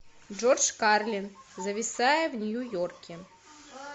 джордж карлин зависая в нью йорке